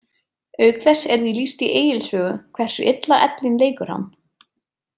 Auk þess er því lýst í Egils sögu hversu illa ellin leikur hann.